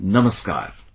Namaskar